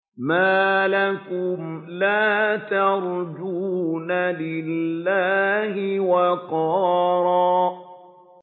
مَّا لَكُمْ لَا تَرْجُونَ لِلَّهِ وَقَارًا